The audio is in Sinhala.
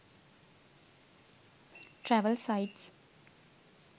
travel sites